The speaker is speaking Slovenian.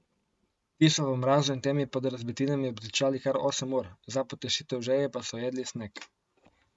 Ti so v mrazu in temi pod razbitinami obtičali kar osem ur, za potešitev žeje pa so jedli sneg.